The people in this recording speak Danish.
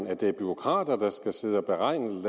at det er bureaukrater der skal sidde og beregne